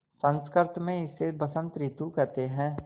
संस्कृत मे इसे बसंत रितु केहेते है